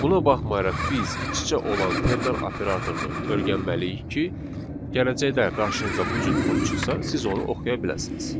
Buna baxmayaraq biz iç-içə olan ternar operatorunu öyrənməliyik ki, gələcəkdə qarşınıza bu cür kod çıxsa, siz onu oxuya biləsiniz.